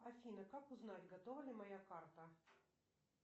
афина как узнать готова ли моя карта